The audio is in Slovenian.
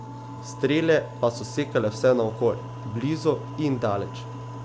Strele pa so sekale vse naokoli, blizu in daleč.